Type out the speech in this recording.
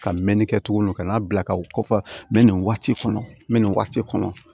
Ka mɛɛnni kɛ tuguni ka n'a bila ka u kɔfɔ n bɛ nin waati kɔnɔ n bɛ nin waati kɔnɔ